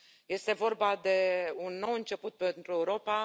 Este vorba de un nou început pentru Europa.